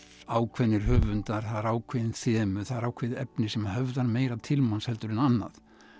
ákveðnir höfundar það eru ákveðin þemu það er ákveðið efni sem höfðar meira til manns heldur en annað